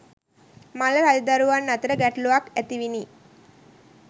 මල්ල රජදරුවන් අතර ගැටලුවක් ඇතිවිණි.